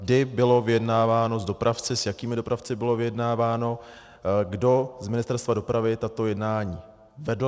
Kdy bylo vyjednáváno s dopravci, s jakými dopravci bylo vyjednáváno, kdo z Ministerstva dopravy tato jednání vedl.